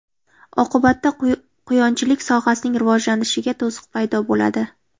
Oqibatda quyonchilik sohasining rivojlanishiga to‘siq paydo bo‘ladi.